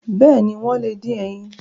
Bẹ́ẹ̀ni, wọ́n lè dín ẹyin.